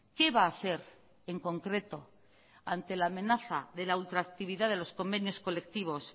qué va a hacer en concreto ante la amenaza de la ultra actividad de los convenios colectivos